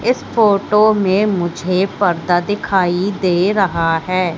इस फोटो में मुझे पर्दा दिखाई दे रहा हैं।